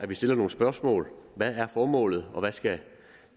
stille nogle spørgsmål hvad er formålet og hvad skal